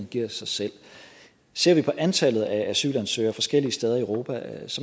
giver sig selv ser vi på antallet af asylansøgere forskellige steder i europa